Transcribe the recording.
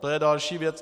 To je další věc.